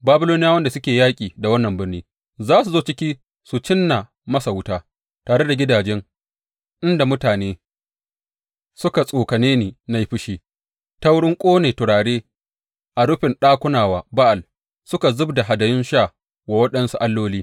Babiloniyawan da suke yaƙi da wannan birni za su zo ciki su cinna masa wuta; tare da gidaje inda mutane suka tsokane ni na yi fushi ta wurin ƙona turare a rufin ɗakuna wa Ba’al suka zub da hadayun sha wa waɗansu alloli.